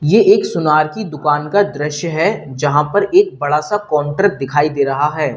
ये एक सुनार की दुकान का दृश्य है जहां पर एक बड़ा सा काउंटर दिखाई दे रहा है।